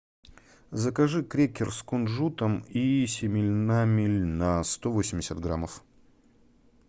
закажи крекер с кунжутом и семенами льна сто восемьдесят граммов